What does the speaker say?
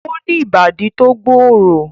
O ni ibadi to gbooro